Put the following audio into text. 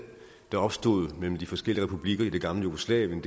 der opstod mellem de forskellige republikker i det gamle jugoslavien